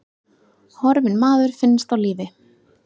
Horfinn maður finnst á lífi